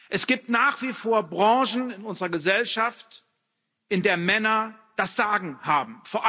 Es gibt nach wie vor Branchen in unserer Gesellschaft, in der Männer das Sagen haben.